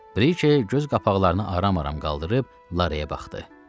Brike göz qapaqlarını aram-aram qaldırıb Laraya baxdı.